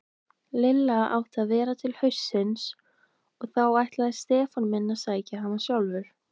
Lilla átti að vera til haustsins og þá ætlaði Stefán minn að sækja hana sjálfur.